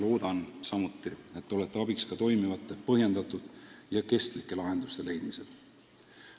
Loodan samuti, et ka teie olete abiks toimivate, põhjendatud ja kestlike lahenduste leidmisel.